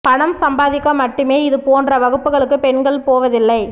பணம் சம்பாதிக்க மட்டுமே இது போன்ற வகுப்புகளுக்கு பெண்கள் போவதில்லை